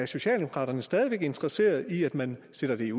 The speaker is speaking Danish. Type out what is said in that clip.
socialdemokraterne stadig væk interesserede i at man sender det